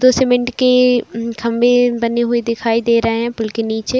दो सीमेंट के खंबे बने हुए दिखाई दे रहे है पूल के नीचे।